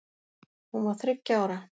Hún var þriggja ára.